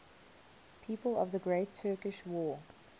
people of the great turkish war